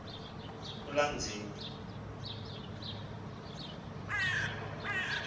ulanzibe